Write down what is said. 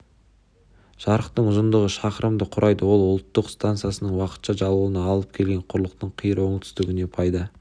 жарықтың ұзындығы шақырымды құрайды ал ол ұлттық стансасының уақытша жабылуына алып келген құрлықтың қиыр оңтүстігінде пайда